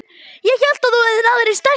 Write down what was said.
Ég hélt að þú hefðir náð þér í stelpu.